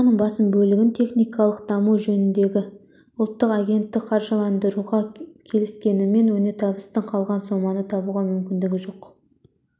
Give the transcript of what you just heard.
соманың басым бөлігін технологиялық даму жөніндегі ұлттық агенттік қаржыландыруға келіскенімен өнертапқыштың қалған соманы табуға мүмкіндігі жоқ